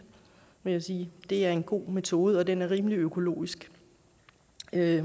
vil jeg sige det er en god metode og den er rimelig økologisk